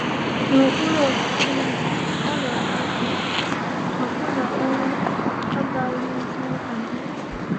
“N’okpuru ọchịchị ya, ọrịa ga-apụ, ọbụna ‘ọnwụ agaghịzi-adị.’”